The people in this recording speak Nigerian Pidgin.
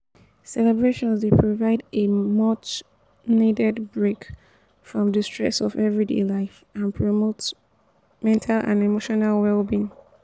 celebrations dey provide a much-needed break from di stresses of everyday life and promote mental and emotional well-being.